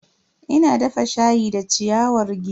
Ina dafa shayi da ciyawar giwa.